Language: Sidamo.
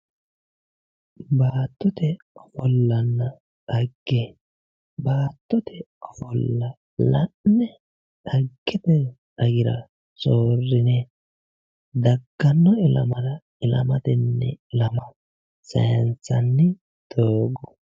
Baattote ofolla dhagge. Baattote ofolla la'ne dhaggete garira soorrine dagganno ilamara ilamatenni ilama sayinsanni doogo.